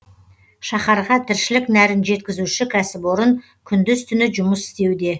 шаһарға тіршілік нәрін жеткізуші кәсіпорын күндіз түні жұмыс істеуде